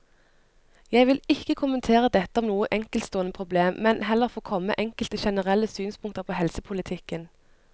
Jeg vil ikke kommentere dette som noe enkeltstående problem, men heller få komme med enkelte generelle synspunkter på helsepolitikken.